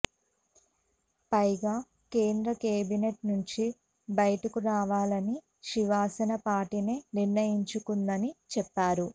పైగా కేంద్ర కేబినెట్ నుంచి బయటకు రావాలని శివసన పార్టీనే నిర్ణయించుకుందని చెప్పారు